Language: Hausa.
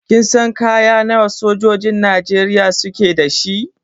Kin san kaya nawa sojojin Najeriya suke da shi?